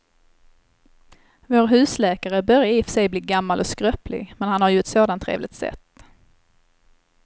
Vår husläkare börjar i och för sig bli gammal och skröplig, men han har ju ett sådant trevligt sätt!